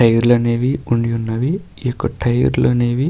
Tyre లు అనేవి ఉండి ఉన్నవి. ఈ యొక్క టైర్ లనేవి --